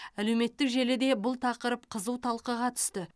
әлеуметтік желіде бұл тақырып қызу талқыға түсті